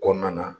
Kɔnɔna na